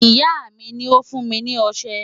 Ìyá mi ni ó fún mi ní ọṣẹ.